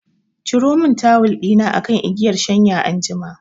Ciro mun tawul ɗina akan igiyan shanya anjima